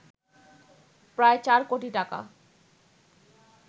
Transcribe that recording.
প্রায় ৪ কোটি টাকা